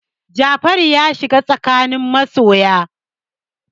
Jafaru ya shiga tsakanin masoya.